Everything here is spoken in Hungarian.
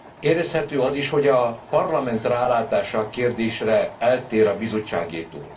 Érezhető az is, hogy a Parlament rálátása a kérdésre eltér a Bizottságétól.